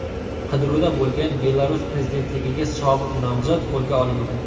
Qidiruvda bo‘lgan Belarus prezidentligiga sobiq nomzod qo‘lga olindi.